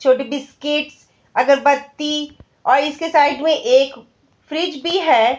छोटी बिस्किटस अगरबत्ती और इसके साइड में एक फ्रीज भी है।